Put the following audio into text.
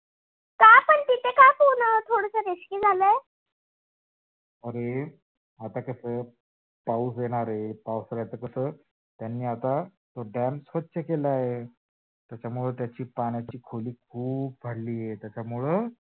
अरे आता कस पाउस येणार आहे, पावसाच कस? त्यांनी आता कस तो dam स्वच्छ केला आहे त्याच्यामुळे त्याच्या पाण्याची खोली खूप भरली आहे. त्याच्यामुळे